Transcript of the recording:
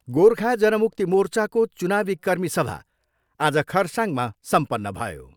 गोर्खा जन मुक्ति मोर्चाको चुनावी कर्मी सभा आज खरसाङमा सम्पन्न भयो।